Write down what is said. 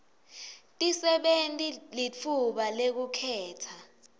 tisebenti litfuba lekukhetsa